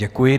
Děkuji.